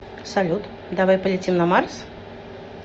салют давай полетим на марс